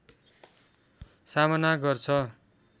सामना गर्छ